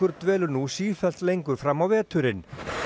dvelur nú sífellt lengur fram á veturinn